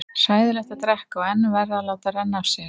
Hræðilegt að drekka og enn verra að láta renna af sér.